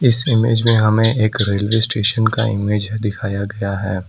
इस इमेज में हमें एक रेलवे स्टेशन का इमेज दिखाया गया है।